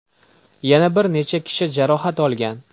Yana bir necha kishi jarohat olgan.